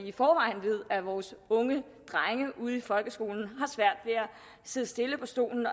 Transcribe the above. i forvejen ved at vores unge drenge ude i folkeskolen at sidde stille på stolen